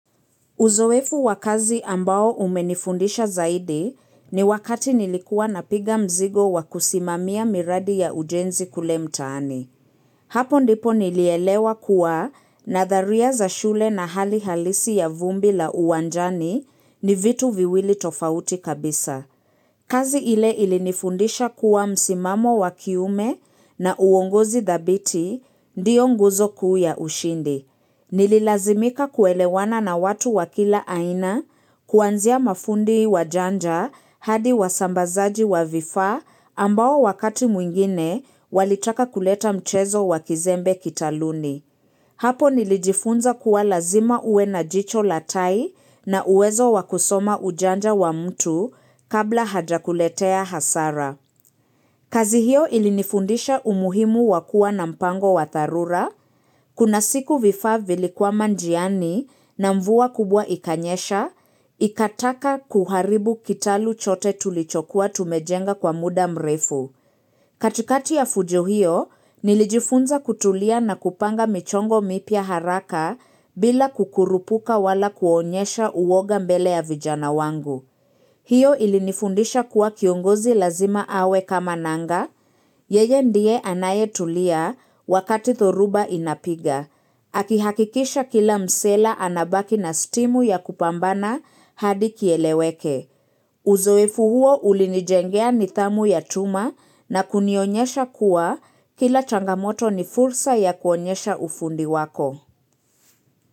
Uzoefu wakazi ambao umenifundisha zaidi ni wakati nilikuwa na piga mzigo wakusimamia miradi ya ujenzi kule mtaani. Hapo ndipo nilielewa kuwa na dharia za shule na hali halisi ya vumbi la uwanjani ni vitu viwili tofauti kabisa. Kazi ile ilinifundisha kuwa msimamo wakiume na uongozi dhabiti ndiyo nguzo kuu ya ushindi. Nililazimika kuelewana na watu wakila aina kuanzia mafundi wa janja hadi wa sambazaji wa vifa ambao wakati mwingine walitaka kuleta mchezo wa kizembe kitaluni. Hapo nilijifunza kuwa lazima ue na jicho latai na uwezo wakusoma ujanja wa mtu kabla hajakuletea hasara. Kazi hiyo ilinifundisha umuhimu wakua na mpango wa tarura, kuna siku vifaa vilikwama njiani na mvua kubwa ikanyesha, ikataka kuharibu kitalu chote tulichokuwa tumejenga kwa muda mrefu. Katikati ya fujo hiyo, nilijifunza kutulia na kupanga michongo mipya haraka bila kukurupuka wala kuonyesha uwoga mbele ya vijana wangu. Hiyo ilinifundisha kuwa kiongozi lazima awe kama nanga, yeye ndiye anaye tulia wakati thoruba inapiga. Akihakikisha kila msela anabaki na stimu ya kupambana hadi kieleweke. Uzoefu huo ulinijengea nidhamu ya tuma na kunionyesha kuwa kila changamoto ni fursa ya kuonyesha ufundi wako.